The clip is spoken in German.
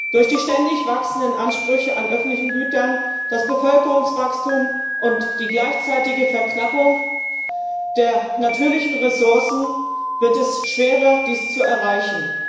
Durch den ständig wachsenden Bedarf an öffentlichen Gütern, das Bevölkerungswachstum und die gleichzeitige Verknappung der natürlichen Ressourcen wird es schwerer, dies zu erreichen.